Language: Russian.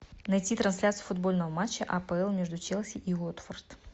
найти трансляцию футбольного матча апл между челси и уотфорд